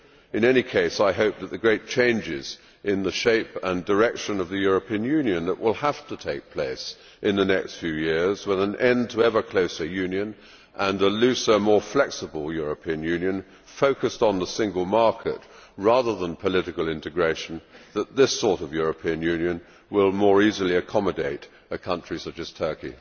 In any case I hope that the great changes in the shape and direction of the European Union that will have to take place in the next few years, with an end to ever closer Union and a looser, more flexible European Union focused on the single market rather than political integration, will mean that this sort of European Union will more easily accommodate a country such as Turkey.